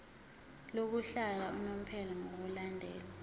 lokuhlala unomphela ngokulandela